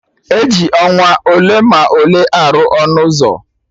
E ji ọnwa ole ma ole arụ ọnụ ụzọ